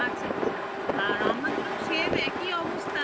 আচ্ছা আচ্ছা আর আমাদেরও same একই অবস্থা